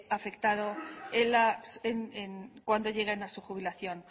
cuando lleguen a su jubilación